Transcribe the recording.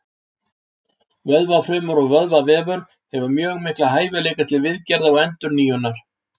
Vöðvafrumur og vöðvavefur hefur mjög mikla hæfileika til viðgerða og endurnýjunar.